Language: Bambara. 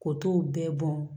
Ko t'o bɛɛ bɔn